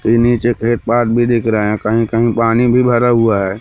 के नीचे थे एक पार्क भीं दिख रहा हैं कहीं-कहीं पानी भीं भरा हुआ हैं।